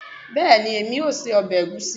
Bẹẹni, emi o sé ọbẹ̀ ègúsi